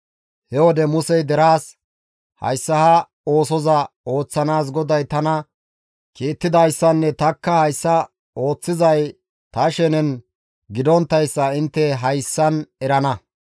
He wode Musey deraas, «Hayssa ha oosoza ooththanaas GODAY tana kiittidayssanne tanikka hayssa ooththizay ta shenen gidonttayssa intte hayssan erana.